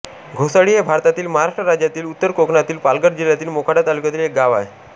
घोसाळी हे भारतातील महाराष्ट्र राज्यातील उत्तर कोकणातील पालघर जिल्ह्यातील मोखाडा तालुक्यातील एक गाव आहे